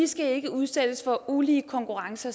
skal ikke udsættes for ulige konkurrence